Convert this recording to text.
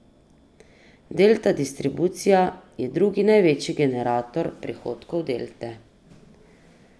Delta Distribucija je drugi največji generator prihodkov Delte.